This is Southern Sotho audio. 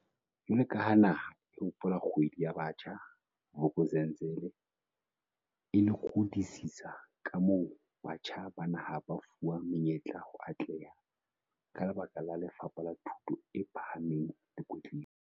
Jwalo ka ha naha e hopola Kgwedi ya Batjha, Vuk'uzenzele e lekodisisa kamoo batjha ba naha ba fuwang menyetla ho atleha ka lebaka la Lefapha la Thuto e Pha hameng le Kwetliso.